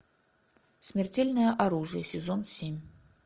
смертельное оружие сезон семь